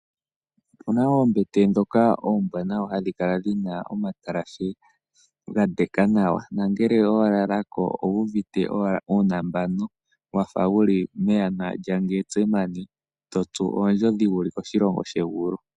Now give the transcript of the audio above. Opena woo oombete oombwanawa hadhi kala dhina omatalashe dhadeka nawa nangeke walalako owuuvite owala uunambanu wafa wuli meyana lyangetse totsu ondjodhi wuli koshilongo shegulu.